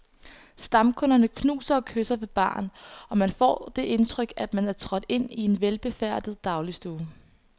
Stamkunderne knuser og kysser ved baren, og man kan få det indtryk, at man er trådt ind i en velbefærdet dagligstue.